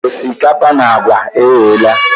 Osikapa na agwa eyela.